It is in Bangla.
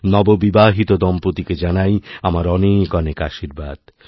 নববিবাহিত দম্পতিকে জানাই আমার অনেকঅনেক আশীর্বাদ